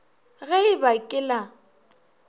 ge e ba ke la